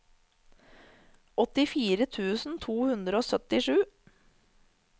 åttifire tusen to hundre og syttisju